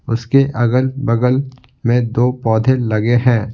उसके अगल-बगल में दो पौधे लगे हैं।